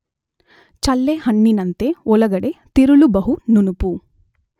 ಚಳ್ಳೆಹಣ್ಣಿನಂತೆ ಒಳಗಡೆ ತಿರುಳು ಬಹು ನುಣುಪು.